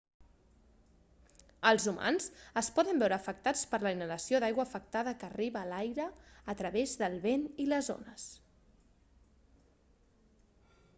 els humans es poden veure afectats per la inhalació d'aigua afectada que arriba a l'aire a través del vent i les ones